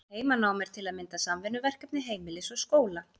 Heimanám er til að mynda samvinnuverkefni heimilis og skóla.